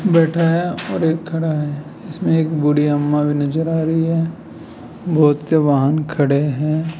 बैठा है और एक खड़ा है इसमें एक बूढ़ी अम्मा भी नजर आ रही है बहोत से वाहन खड़े हैं।